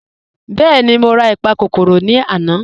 Bẹẹni, mọ̀ rà ìpàkọ́kọ́rò lànà.